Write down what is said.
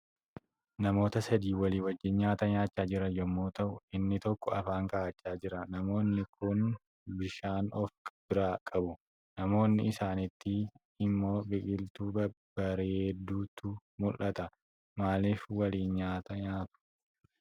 Namoota Sadi walii wajjiin nyaata nyaachaa jiran yommuu ta'u, inni tokko afaan ka'achaa jira. Namoonni Kun bishaan of biraa qabu. Naannoo isaaniitti immoo Biqiltuu babbareedduutu mul'ata. Maalif waliin nyaata nyaatu?